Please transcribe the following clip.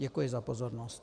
Děkuji za pozornost.